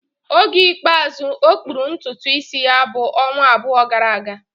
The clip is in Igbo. Oge ikpeazụ ọ kpụrụ ntutu isi ya bụ ọnwa abụọ gara aga